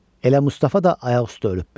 Elə Mustafa da ayaqüstə ölübmüş.